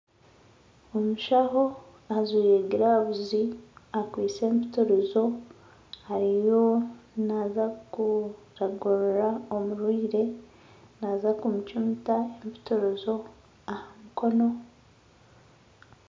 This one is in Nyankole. Omushaho ajwaire giravu akwaitse empitirizo ariyo naza kuragurira omurwaire naza kumucumita empitirizo aha mukono